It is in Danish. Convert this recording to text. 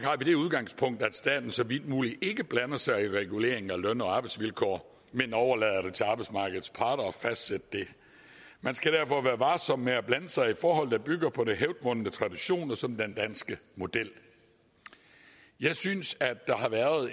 vi det udgangspunkt at staten så vidt muligt ikke blander sig i reguleringen af løn og arbejdsvilkår men overlader det til arbejdsmarkedets parter at fastsætte det man skal derfor være varsom med at blande sig i forhold der bygger på hævdvundne traditioner som den danske model jeg synes der har været